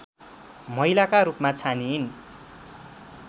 महिलाका रूपमा छानिइन्